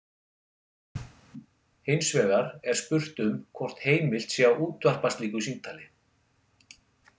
Hins vegar er spurt um hvort heimilt sé að útvarpa slíku símtali.